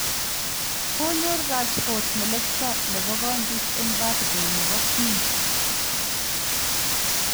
Konyor Rashford melekto nebo kondit eng birthday nebo queen